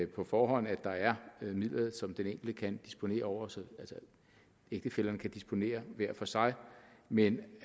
på forhånd at der er midler som den enkelte kan disponere over så ægtefællerne kan disponere hver for sig men